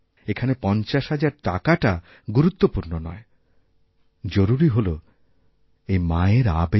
এখানেপঞ্চাশ হাজার টাকাটা গুরুত্বপূর্ণ নয় জরুরি হল এই মায়ের আবেগ